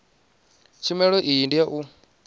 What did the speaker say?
tshumelo iyi ndi ya u